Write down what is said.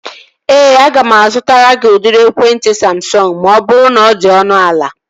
Ee, aga m azụtara gị udiri ekwentị Samsọngu ma ọ bụrụ na ọ dị ọnụ ala